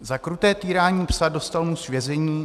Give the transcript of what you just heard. "Za kruté týrání psa dostal muž vězení.